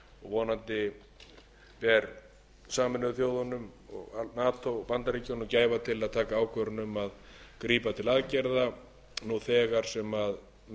vonandi bera sameinuðu þjóðirnar nato og bandaríkin gæfu til að taka ákvörðun um að grípa til aðgerða nú þegar sem megi verða til þess að stöðva þá hörmulegu